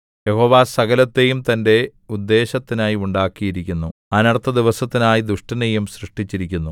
യഹോവ സകലത്തെയും തന്റെ ഉദ്ദേശ്യത്തിനായി ഉണ്ടാക്കിയിരിക്കുന്നു അനർത്ഥദിവസത്തിനായി ദുഷ്ടനെയും സൃഷ്ടിച്ചിരിക്കുന്നു